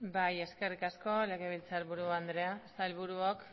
bai eskerrik asko legebiltzarburu andrea sailburuok